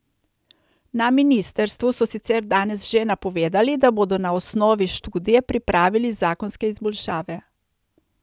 Na ministrstvu so sicer danes že napovedali, da bodo na osnovi študije pripravili zakonske izboljšave.